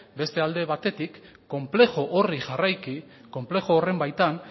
beste alde batetik konplejo horri jarraiki konplejo horren baitan